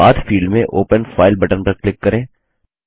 अब पथ फील्ड में ओपन फाइल बटन पर क्लिक करें